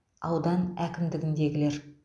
аудан әкімдігіндегілер